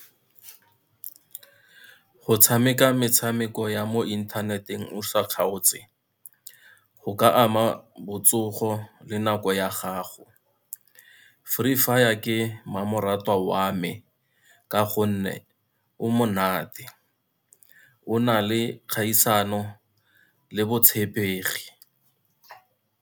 Go tshameka metshameko ya mo inthaneteng o sa kgaotse, go ka ama botsogo le nako ya gago. Free Fire ke mmamoratwa wa me, ka gonne o monate, o na le kgaisano le botshepegi.